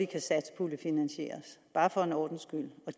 kan satspuljefinansieres bare for en ordens skyld